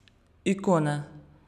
Ikone.